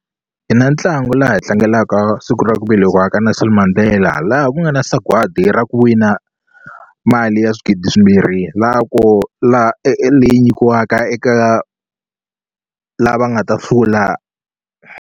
Hi na ntlangu laha hi tlangelaka siku ra ku velekiwa ka Nelson Mandela laha ku nga na sagwadi ra ku wina mali ya swigidi swimbirhi la ko la leyi nyikiwaka eka lava nga ta hlula.